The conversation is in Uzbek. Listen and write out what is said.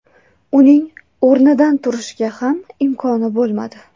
Uning o‘rnidan turishga ham imkoni bo‘lmadi.